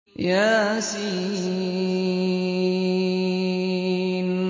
يس